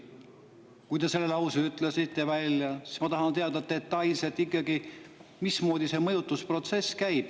Kuna te selle lause ütlesite, siis ma tahan ikkagi teada detailselt, mismoodi see mõjutusprotsess käib.